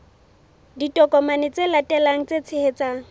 ditokomane tse latelang tse tshehetsang